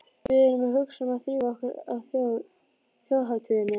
Við erum að hugsa um að drífa okkur á Þjóðhátíðina.